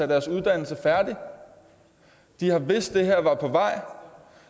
deres uddannelse færdig de har vidst at det her var på vej